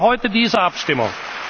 zu erfüllen. Deshalb heute diese